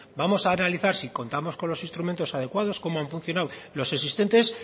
vamos a analizar si contamos con los instrumentos adecuados cómo han funcionado los existentes